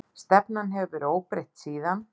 Stefnan hefur verið óbreytt síðan.